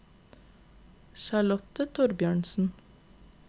Charlotte Thorbjørnsen